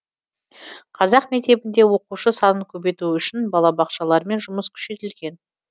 қазақ мектебінде оқушы санын көбейту үшін балабақшалармен жұмыс күшейтілген